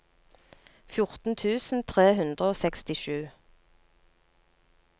fjorten tusen tre hundre og sekstisju